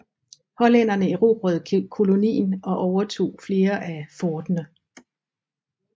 Hollænderne erobrede kolonien og overtog flere af forterne